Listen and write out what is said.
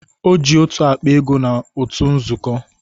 Ọ ji otu akpa ego n'utu nzukọ